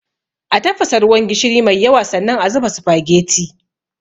A tafasa ruwan gishiri mai yawa, sannan a zuba sufageti.